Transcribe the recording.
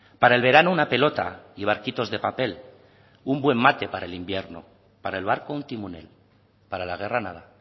para el verano una pelota y barquitos de papel un buen mate para el invierno para el barco un timonel para la guerra nada